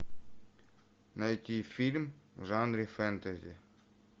найти фильм в жанре фэнтези